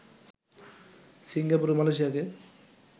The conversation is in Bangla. সিঙ্গাপুর ও মালয়েশিয়াকে